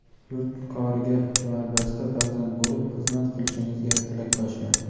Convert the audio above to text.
yurt koriga kamarbasta farzand bo‘lib xizmat qilishingizga tilakdoshman.